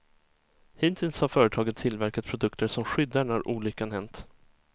Hittills har företaget tillverkat produkter som skyddar när olyckan hänt.